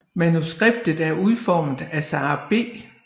Manuskriptet er udformet af Sara B